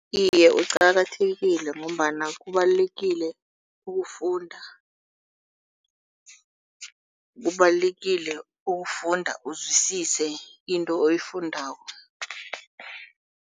Iye qakathekile ngombana kubalulekile ukufunda. Kubalulekile ukufunda uzwisise into oyifundako.